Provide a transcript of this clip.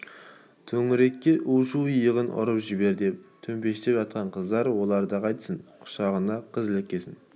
төңірек у-шу иығынан ұрып жібер деп төмпештеп жатқан қыздар оларды қайтсін құшағына қыз іліккесін